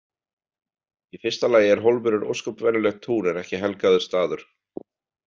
Í fyrsta lagi er hólmurinn ósköp venjulegt tún en ekki helgaður staður.